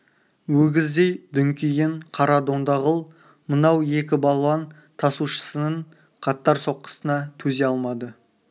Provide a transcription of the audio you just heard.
өгіздей дүңкиген қара дондағұл мынау екі балуан тасушысының қатар соққысына төзе алмады